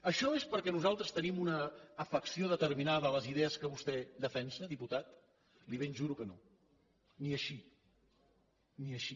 això és perquè nosaltres tenim una afecció determinada a les idees que vostè defensa diputat li ho ben juro que no ni així ni així